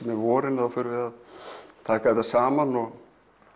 með vorinu þá förum við að taka þetta saman og